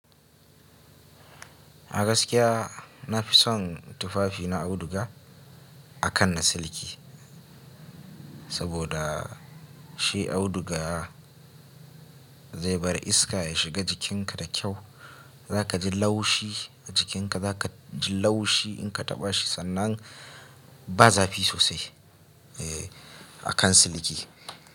A gaskiya na fi son tufafi na auduga akan na siliki, saboda shi auduga zai bar iska ya shiga jikinka da kyau. Za ka ji laushi a jikinka, za ka ji laushi in ka taɓa shi sannan ba zafi sosai eh akan siliki.